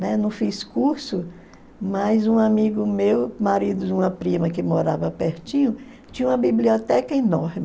Né? Não fiz curso, mas um amigo meu, marido de uma prima que morava pertinho, tinha uma biblioteca enorme.